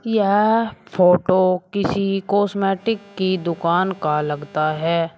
यह फोटो किसी कॉस्मेटिक की दुकान का लगता है।